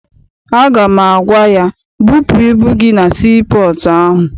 Aga m agwa ya, bupụ ibu gị na sii pọọtụ ahụ!